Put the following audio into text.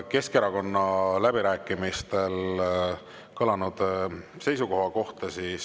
Kas ka hinnang läbirääkimistel kõlanud Keskerakonna seisukoha kohta?